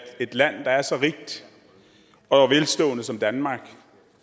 et land der er så rigt og velstående som danmark